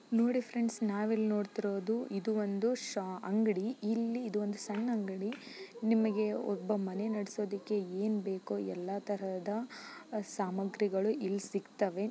ನೋಡಿ ಫ್ರೆಂಡ್ಸ್ ನಾವಿಲ್ಲಿ ನೋಡ್ತಿರೋದು ಇದು ಒಂದು ಶಾ ಅಂಗಡಿ. ಇಲ್ಲಿ ಇದು ಒಂದು ಸಣ್ಣ ಅಂಗಡಿ. ನಿಮಗೆ ಒಬ್ಬ ಮನೆ ನಡಸೋದಕ್ಕೆ ಏನ್ ಬೇಕೋ ಎಲ್ಲ ತರಹದ ಸಾಮಗ್ರಿಗಳು ಇಲ್ ಸಿಗ್ತಾವೆ.